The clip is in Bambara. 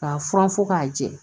K'a furan fɔ k'a jɛ